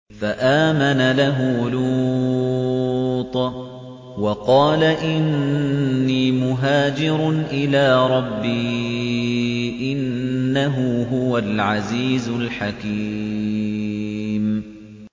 ۞ فَآمَنَ لَهُ لُوطٌ ۘ وَقَالَ إِنِّي مُهَاجِرٌ إِلَىٰ رَبِّي ۖ إِنَّهُ هُوَ الْعَزِيزُ الْحَكِيمُ